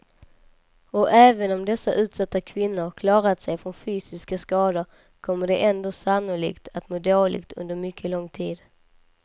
Och även om dessa utsatta kvinnor klarat sig från fysiska skador kommer de ändå sannolikt att må dåligt under mycket lång tid.